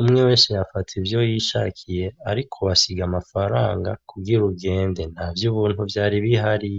umwe wese yafata ivyo yishakiye ariko wasiga amafaranga kugira ugende. Nta vy'ubuntu vyari bihari.